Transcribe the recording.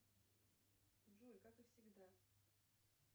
джой как и всегда